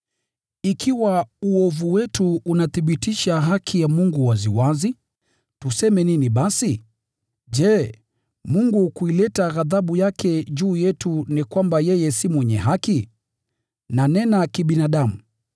Ikiwa uovu wetu unathibitisha haki ya Mungu waziwazi, tuseme nini basi? Je, Mungu kuileta ghadhabu yake juu yetu ni kwamba yeye si mwenye haki? (Nanena kibinadamu.)